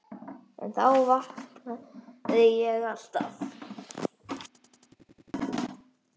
En þá vaknaði ég alltaf.